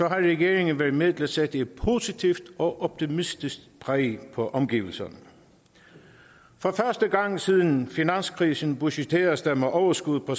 regeringen været med til at sætte et positivt og optimistisk præg på omgivelserne for første gang siden finanskrisen budgetteres der med overskud på